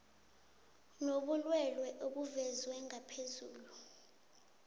nobulwelwele obuvezwe ngaphezulu